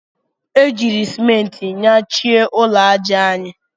E jiiri Simenti nyachie ụlọ aja anyị.